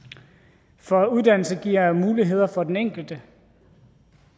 for uddannelse giver muligheder for den enkelte